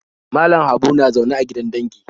Malam Habu na zaune a gidan dangi